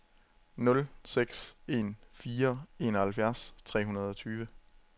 nul seks en fire enoghalvfjerds tre hundrede og tyve